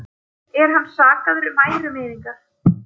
Er hann sakaður um ærumeiðingar